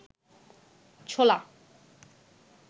ছোলা